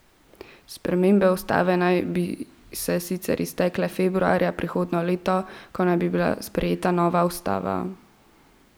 Spremembe ustave naj bi se sicer iztekle februarja prihodnje leto, ko naj bi bila sprejeta nova ustava.